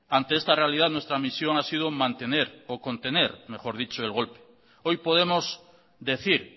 ante esta realidad nuestra misión ha sido mantener o contener mejor dicho el golpe hoy podemos decir